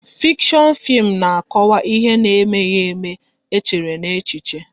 Fikshon fim na akọwa ihe na emeghị ème, e chere n'echiche